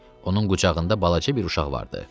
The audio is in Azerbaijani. Onun qucağında balaca bir uşaq vardı.